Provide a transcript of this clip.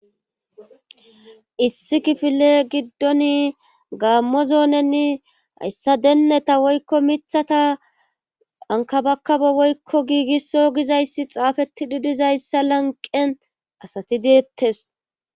Issi kifile giddoni gaammo zoonenni hayssa deenneta woykko mithata ankabakabo woykko giigisso gizayssi xaafeti didizayssa lanqen asati deettes.